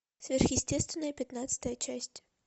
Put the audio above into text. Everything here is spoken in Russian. сверхъестественное пятнадцатая часть